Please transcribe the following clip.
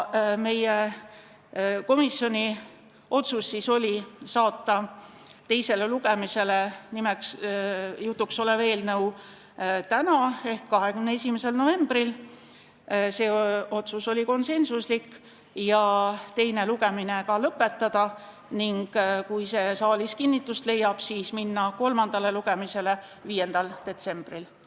Meie komisjoni otsus oli saata eelnõu teisele lugemisele tänaseks ehk 21. novembriks ja teine lugemine ka lõpetada ning kui see saalis kinnitust leiab, siis minna kolmandale lugemisele 5. detsembril.